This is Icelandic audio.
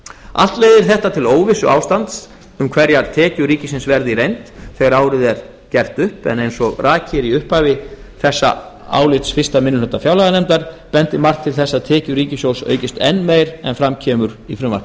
allt leiðir þetta til óvissuástands um hverjar tekjur ríkisins verði í reynd þegar árið er gert upp en eins og rakið er í upphafi þessa álits eitt minni hluta fjárlaganefndar bendir margt til þess að tekjur ríkisins aukist enn meira en fram kemur í